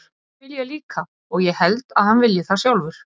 Það vil ég líka og ég held að hann vilji það sjálfur.